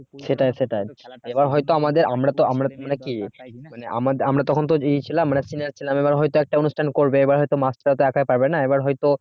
সেটাই সেটাই এবার হয়তো আমাদের আমরা তো মানে কি মানে আমরা তখন তো ছিলাম মানে senior ছিলাম এবার হয়তো একটা অনুষ্ঠান করবে এবার হয়তো একা পারবে না এবার হয়তো